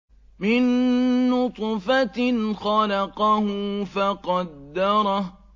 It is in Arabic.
مِن نُّطْفَةٍ خَلَقَهُ فَقَدَّرَهُ